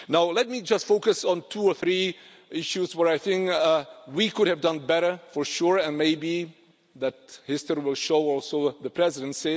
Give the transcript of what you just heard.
Let me just focus on two or three issues where I think we could have done better, for sure, and maybe that history will show also the Presidency.